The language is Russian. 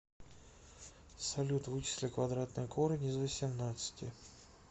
салют вычисли квадратный корень из восемнадцати